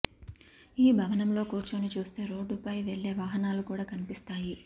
ఈ భవనంలో కూర్చొని చూస్తే రోడ్డుపై వెళ్లే వాహనాలు కూడ కన్పిస్తాయి